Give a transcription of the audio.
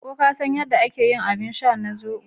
Ko ka san yadda ake yin abin sha na zobo?